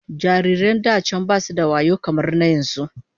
Babies in the past weren't as intelligent as the ones in present times